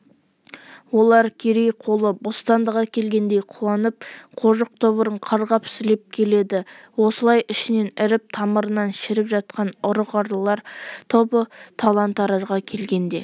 олар керей қолы бостандық әкелгендей қуанып қожық тобырын қарғап-сілеп келеді осылай ішінен іріп тамырынан шіріп жатқан ұры-қарылар тобыры талан-таражға келгенде